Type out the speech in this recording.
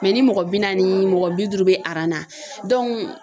ni mɔgɔ bi naani mɔgɔ bi duuru bɛ aran na